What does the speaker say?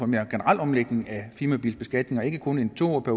mere generel omlægning af firmabilbeskatningen og ikke kun en to årig